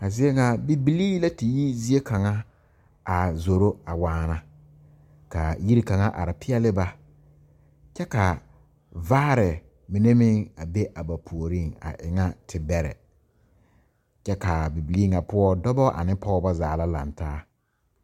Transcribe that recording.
A zie ŋa bibilii la te yi zie kaŋa a zoro a waana ka yiri kaŋa are peɛle ba kyɛ ka vaare mine meŋ a be a ba puoriŋ a e ŋa tebɛrɛ kyɛ k,a bibilii ŋa poɔ dɔba ane pɔgeba zaa la laŋ taa.